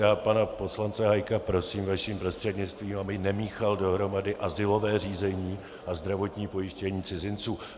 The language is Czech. Já pana poslance Hájka prosím vaším prostřednictvím, aby nemíchal dohromady azylové řízení a zdravotní pojištění cizinců.